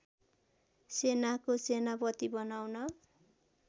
सेनाको सेनापति बनाउन